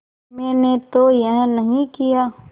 मैंने तो यह नहीं किया